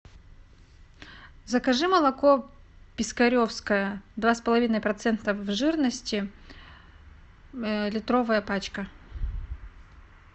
закажи молоко пискаревское два с половиной процента жирности литровая пачка